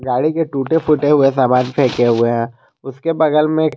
गाड़ी के टूटे फूटे हुए सामान फेंके हुए हैं उसके बगल में--